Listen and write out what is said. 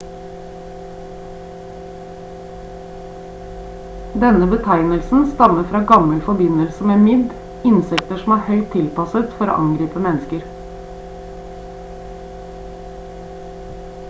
denne betegnelsen stammer fra gammel forbindelse med midd insekter som er høyt tilpasset for å angripe mennesker